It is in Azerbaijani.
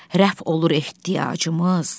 Rəf olur ehtiyacımız?